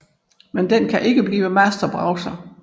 Men den kan ikke blive Master Browser